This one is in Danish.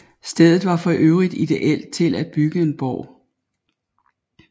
Stedet var for øvrigt ideelt til at bygge en borg